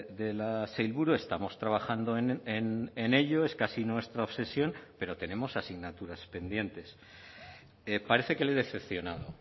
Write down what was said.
de la sailburu estamos trabajando en ello es casi nuestra obsesión pero tenemos asignaturas pendientes parece que le he decepcionado